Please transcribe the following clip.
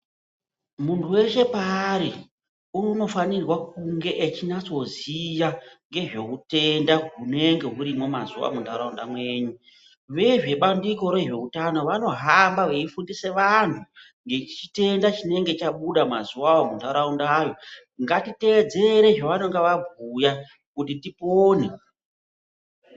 Munhu weshe paari unofanirwe kunge echinyatsoziya ngezve utenda hunenge hurimwo mazuwa munharaunda mwenyu, vezvebandiko rezveutano vanohamba veifundise vanhu ngechitenda chinenge chabuda mazuwawo munharaundayo ngatiteedzere zvaanenge vabhuya kuti tipone .